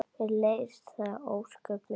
Mér leiðist það ósköp mikið.